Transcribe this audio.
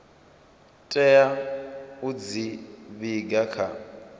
tea u dzi vhiga kha